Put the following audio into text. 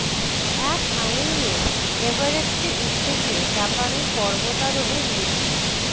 এক আঙুল নিয়ে এভারেস্টে উঠতে গিয়ে জাপানি পর্বতারোহীর মৃত্যু